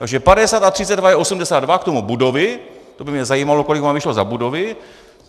Takže 50 a 32 je 82, k tomu budovy, to by mě zajímalo, kolik vám vyšlo za budovy.